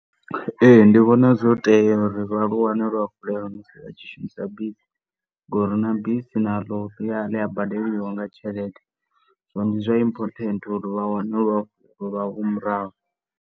Ee, ndi vhona zwo tea uri vha lu wane luafhulela musi vha tshi shumisa bisi ngauri na bisi naḽo ḽi a badeliwa nga tshelede. Zwino ndi zwa important uri vha wane vha u murahu.